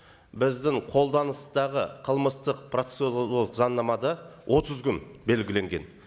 біздің қолданыстағы қылмыстық процедуралық заңнамада отыз күн белгіленген